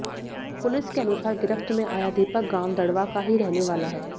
police के अनुसार गिरफ्त में आया दीपक गांव दड़वा का ही रहने वाला है